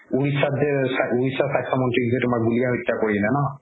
স্বাস্থ্য মন্ত্ৰীক গুলিয়াই হত্যা কৰিলে ন